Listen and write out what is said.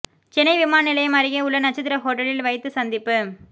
சென்னை விமான நிலையம் அருகே உள்ள நட்சத்திர ஹோட்டலில் வைத்து சந்திப்பு